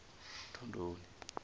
thondoni